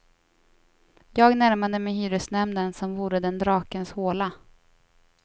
Jag närmade mej hyresnämnden som vore den drakens håla.